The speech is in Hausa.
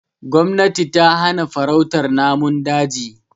Gomnati tana hana farautar namun daji.